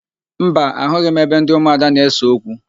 Mba, ahụghị m ebe ndị ụmụada na-ese okwu.